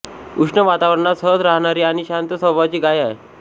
उष्ण वातावरणात सहज राहणारी आणि शांत स्वभावाची गाय आहे